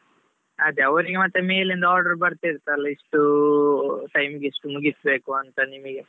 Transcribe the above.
ಅದೇ ಅವರಿಗೆ ಮತ್ತೆ ಮೇಲಿಂದ order ಬರ್ತಿರ್ತೆ ಅಲ್ಲಾ ಇಷ್ಟು time ಇಗೆ ಇಷ್ಟು ಮುಗಿಸ್ಬೇಕು ಅಂತಾ ನಿಮಿಗೆ.